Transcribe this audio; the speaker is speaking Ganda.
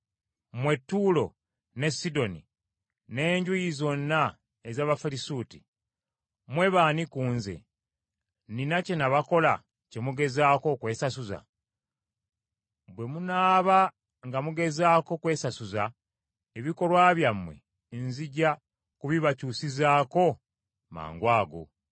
“Mwe Ttuulo ne Sidoni n’enjuyi zonna ez’Abafirisuuti, mmwe b’ani ku Nze? Nnina kye nabakola kye mugezaako okwesasuza? Bwe munaaba nga mugezaako kwesasuza, ebikolwa byammwe nzija kubibakyusizaako mangwago.